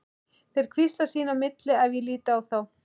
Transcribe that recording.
Þeir hvísla sín á milli ef ég lít á þá.